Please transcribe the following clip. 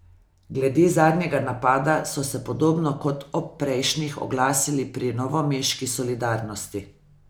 Glede zadnjega napada so se podobno kot ob prejšnjih oglasili pri novomeški Solidarnosti.